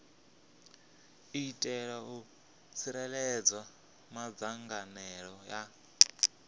itela u tsireledza madzangalelo a